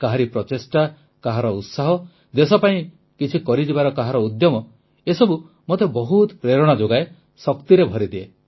କାହାରି ପ୍ରଚେଷ୍ଟା କାହାର ଉତ୍ସାହ ଦେଶ ପାଇଁ କିଛି କରିଯିବାର କାହାର ଉଦ୍ୟମ ଏସବୁ ମୋତେ ବହୁତ ପ୍ରେରଣା ଯୋଗାଏ ଶକ୍ତିରେ ଭରିଦିଏ